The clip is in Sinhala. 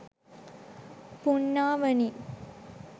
පුණ්ණාවනි